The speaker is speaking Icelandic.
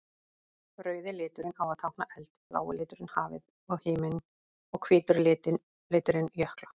Rauði liturinn á að tákna eld, blái liturinn hafið og himininn og hvíti liturinn jökla.